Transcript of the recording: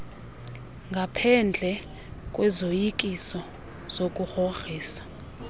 ngaphendle kwezoyikiso zokugrogriswa